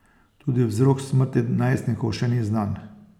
Tudi vzrok smrti najstnikov še ni znan.